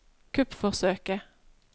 kuppforsøket